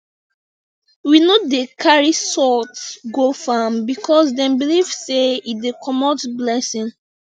we no dey carry salt go farm because dem believe sey e dey comot blessing